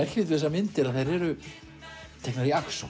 myndir að þær eru teknar í